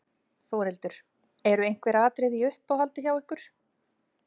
Þórhildur: Eru einhver atriði í uppáhaldi hjá ykkur?